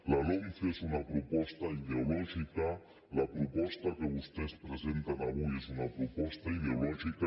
la lomce és una proposta ideològica la proposta que vostès presenten avui és una proposta ideològica